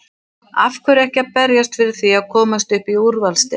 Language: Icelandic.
Af hverju ekki að berjast fyrir því að komast upp í úrvalsdeild?